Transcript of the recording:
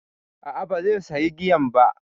A'a, ba zai sayi giyan ba.